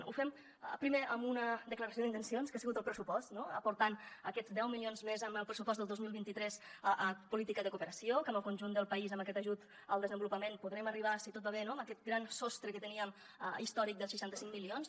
ho fem primer amb una declaració d’intencions que ha sigut el pressupost no aportant aquests deu milions més en el pressupost del dos mil vint tres a política de cooperació que en el conjunt del país amb aquest ajut al desenvolupament podrem arribar si tot va bé a aquest gran sostre que teníem històric dels seixanta cinc milions